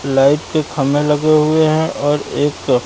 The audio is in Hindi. लाइट के खंबे लगे हुए हैं और एक--